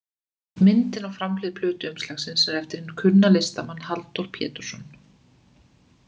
Myndin á framhlið plötuumslagsins er eftir hinn kunna listamann, Halldór Pétursson.